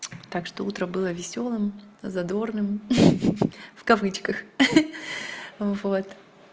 так что утром было весёлым задорным в кавычках вот